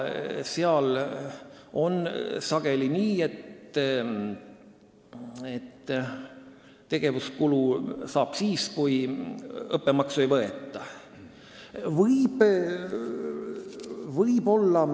Seal on sageli nii, et tegevuskulutoetust saab siis, kui õppemaksu ei võeta.